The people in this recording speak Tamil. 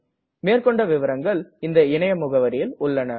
மேற்கொண்டு விவரங்கள் இந்த இணைய முகவரியில் உள்ளது